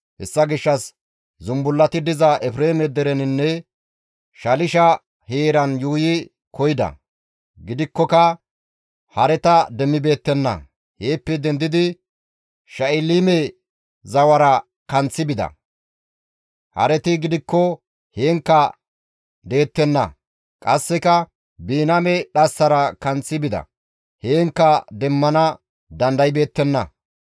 Hessa gishshas zumbullati diza Efreeme dereninne Shalisha heeran yuuyi koyida; gidikkoka hareta demmibeettenna. Heeppe dendidi Sha7iliime zawara kanththi bida; hareti gidikko heenkka deettenna; qasseka Biniyaame dhassara kanththi bida; heenkka demmana dandaybeettenna.